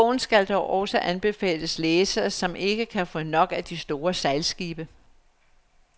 Bogen skal dog også anbefales læsere, som ikke kan få nok af de store sejlskibe.